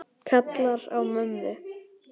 Kallar á mömmu.